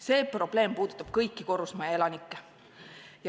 See probleem puudutab kõiki korrusmajaelanikke.